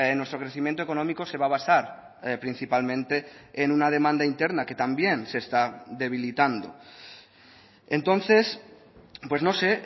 nuestro crecimiento económico se va a basar principalmente en una demanda interna que también se está debilitando entonces pues no sé